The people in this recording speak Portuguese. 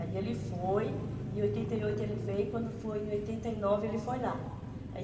Aí ele foi, em oitenta e oito ele veio, quando foi em oitenta e nove ele foi lá. Aí